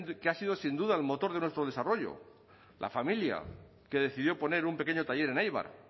que ha sido sin duda el motor de nuestro desarrollo la familia que decidió poner un pequeño taller en eibar